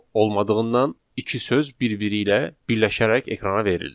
olmadığından iki söz bir-biri ilə birləşərək ekrana verildi.